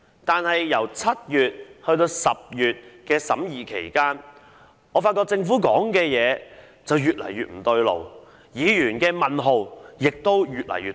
但是，在7月至10月審議期間，我們發現政府的說法越來越不對勁，議員的問號亦都越來越多。